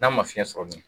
N'a ma fiɲɛ sɔrɔ dun